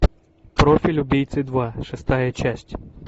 профиль убийцы два шестая часть